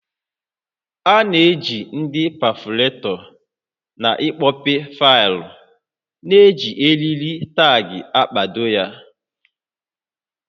A na-eji ndị pefọretọ n'ịkpọpe faịlụ na iji eriri taagị kpado ha